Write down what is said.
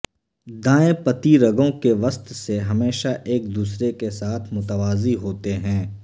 دائیں پتی رگوں کے وسط سے ہمیشہ ایک دوسرے کے ساتھ متوازی ہوتے ہیں